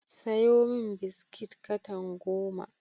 Sayo min biskit katan goma.